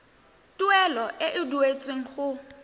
tuelo e e duetsweng go